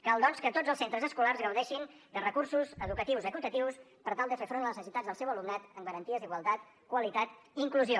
cal doncs que tots els centres escolars gaudeixin de recursos educatius equitatius per tal de fer front a les necessitats del seu alumnat amb garanties d’igualtat qualitat i inclusió